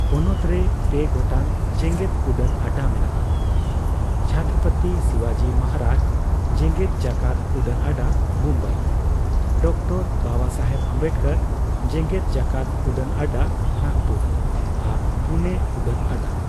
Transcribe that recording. ᱯᱚᱱᱚᱛ ᱨᱮ ᱯᱮ ᱜᱚᱴᱟᱝ ᱡᱮᱜᱮᱫ ᱩᱰᱟᱹᱱ ᱟᱰᱟ ᱢᱮᱱᱟᱜᱼᱟ ᱼ ᱪᱷᱚᱛᱨᱚᱯᱚᱛᱤ ᱥᱤᱣᱟᱡᱤ ᱢᱚᱦᱟᱨᱟᱡᱽ ᱡᱮᱜᱮᱫ ᱡᱟᱠᱟᱛ ᱩᱰᱟᱹᱱ ᱟᱰᱟ, ᱢᱩᱢᱵᱟᱭ, ᱰᱚᱠᱴᱚᱨ ᱵᱟᱵᱟᱥᱟᱦᱮᱵ ᱚᱢᱵᱮᱰᱠᱚᱨ ᱡᱮᱜᱮᱫ ᱡᱟᱠᱟᱛ ᱩᱰᱟᱹᱱ ᱟᱰᱟ, ᱱᱟᱜᱯᱩᱨ ᱟᱨ ᱯᱩᱱᱮ ᱩᱰᱟᱹᱱ ᱟᱰᱟ ᱾